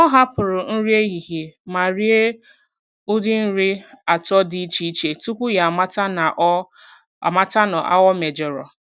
Ọ hapụrụ nri ehihie ma rie ụdị nri atọ dị iche iche tupu ya amata na ọ amata na ọ mejọrọ.